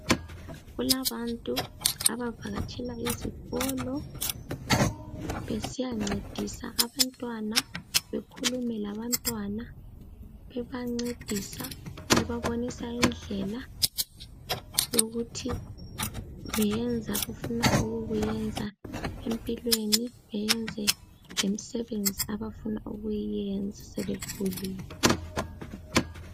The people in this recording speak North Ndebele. Kulabantu abavakatshela izikolo besiyancedisa abantwana, bekhulume labantwana bebancedisa bebabonisa indlela yokuthi beyenze abafuna ukukwenza empilweni beyenze lemsebenzi abafuna ukuyenza sebekhulile.